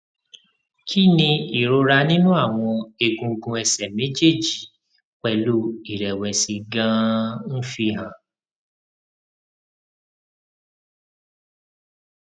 kí ni ìrora ninu àwọn egungun ẹsẹ méjèèjì pelu irẹwẹsì ganan ń fi hàn